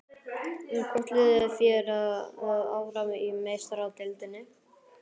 Hvort liðið fer áfram í Meistaradeildinni?